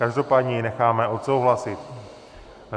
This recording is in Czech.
Každopádně ji necháme odsouhlasit.